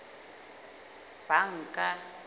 banka